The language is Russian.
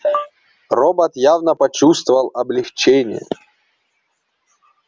робот явно почувствовал облегчение